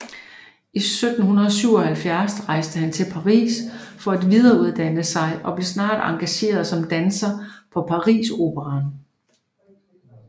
I 1777 rejste han til Paris for at videreuddanne sig og blev snart engageret som danser på Pariseroperaen